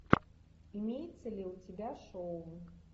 имеется ли у тебя шоу